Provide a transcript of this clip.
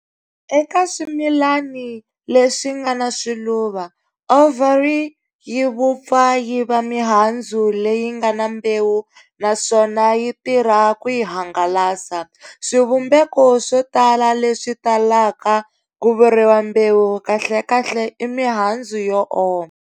Eka swimilani leswinga na swiluva, ovary yivupfa yiva mihandzu leyingana mbewu naswona yitirha ku yi hangalasa. Swivumbeko swotala leswi talaka kuvuriwa"mbewu" kahlekahle i mihandzu yo oma.